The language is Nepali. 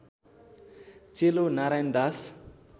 चेलो नारायण दास